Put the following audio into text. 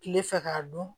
Kile fɛ k'a dɔn